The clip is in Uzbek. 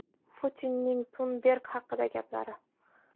Putinning Tunberg haqidagi gaplari.